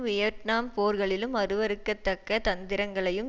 Vietnam போரிகளலும் அருவருக்கத்தக்க தந்திரங்களையும்